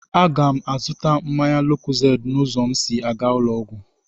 A ga m azụta mmanya lókózéédị n'ụzọ m sị à ga ụlọ ọgwụ